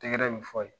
Tɛgɛrɛ bɛ fɔ a ye